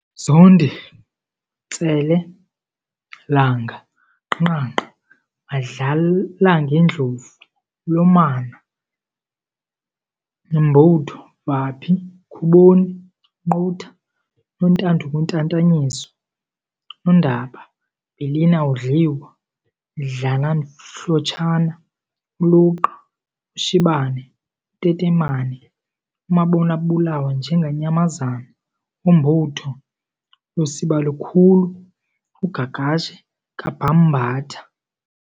Zondi- Ntsele, langa, gqagqagqa, Madlalangemdlovu, mlomane, mbutho, vaphi, khuboni, qunta, Nontandukutatanyiswa, Nondaba, mbilin'awudliwa, dlanamhlotshana, uluqa, ushibane, utetemane, umabonw'abulawe njengenyamazane, umbutho, lusibalikhulu, ugagashe kaBhambatha.